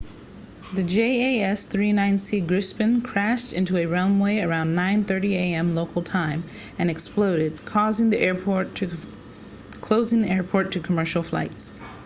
the jas 39c gripen crashed onto a runway at around 9:30 am local time 0230 utc and exploded closing the airport to commercial flights